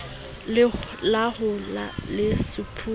la ho ya le sephume